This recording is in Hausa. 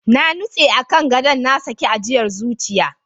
Na nutse a kan gadon, na saki ajiyar zuciya.